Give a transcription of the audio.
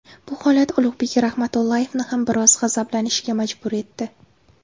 Bu holat Ulug‘bek Rahmatullayevni ham biroz g‘azablanishga majbur etdi.